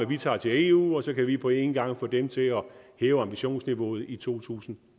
vi tager til eu og så kan vi på en gang få dem til at hæve ambitionsniveauet i to tusind